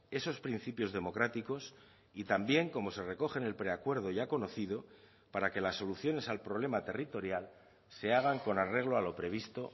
esos principios democráticos y también cómo se recoge en el preacuerdo ya conocido para que las soluciones al problema territorial se hagan con arreglo a lo previsto